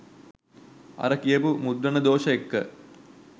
අර කියපු මුද්‍රණ දෝෂ එක්ක